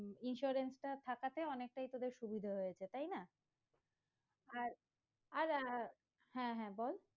Insurance টা থাকাতে অনেকটাই তোদের সুবিধে হয়েছে তাই না আর আর আহ হ্যাঁ হ্যাঁ বল